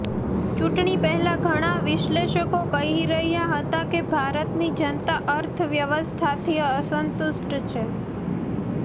ચૂંટણી પહેલા ઘણા વિશ્લેષકો કહી રહ્યા હતા કે ભારતની જનતા અર્થવ્યવસ્થાથી અસંતુષ્ટ છે